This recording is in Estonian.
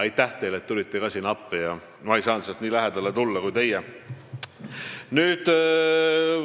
Aitäh teile, et tulite ka appi, ma ei saanud nii lähedale minna kui teie.